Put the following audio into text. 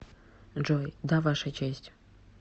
джой да ваша честь